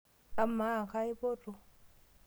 Amaa kaipoto?